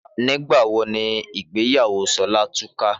Nígbà wo ni ìgbéyàwó Ṣọlá túká?